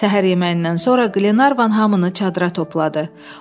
Səhər yeməyindən sonra Qlenarvan hamını çadıra topladı.